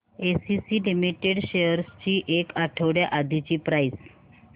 ACC limited shares ची एक आठवड्या आधीची प्राइस